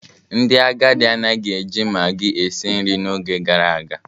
Ndị agadi anaghị eji maggi esi nri n'oge gara aga.